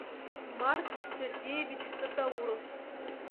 марс сергеевич татауров